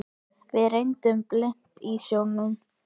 Við renndum blint í sjóinn.